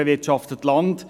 Sie bewirtschaftet Land.